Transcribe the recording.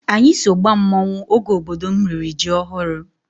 Anyị so gbaa mmanwụ oge obodo m riri ji ọhụrụ.